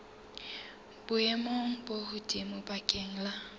boemong bo hodimo bakeng la